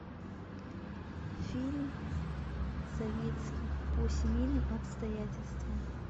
фильм советский по семейным обстоятельствам